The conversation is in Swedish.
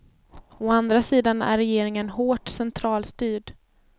Å andra sidan är regeringen hårt centralstyrd.